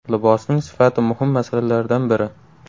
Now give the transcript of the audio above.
Libosning sifati muhim masalalardan biri.